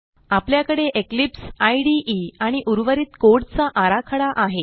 आपल्याकडे Eclipse IDE आणि उर्वरित कोड चा आराखडा आहे